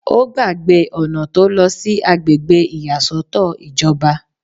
Ó gbàgbé ọ̀nà tó lọ sí àgbègbè ìyàsọ́tọ̀ ìjọba